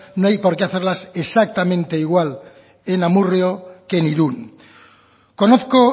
no hay porque hacerlas exactamente igual en amurrio que en irún conozco